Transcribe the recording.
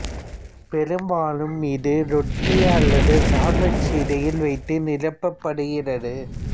பெரும்பாலும் இது ரொட்டி அல்லது சான்விச் இடையில் வைத்து நிரப்பப்படுகிறது